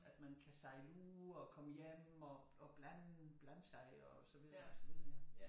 At man kan sejle ud og komme hjem og og blande blande sig og så videre og så videre ja